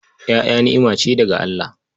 Ƴaƴa ni'ima ce daga Allah.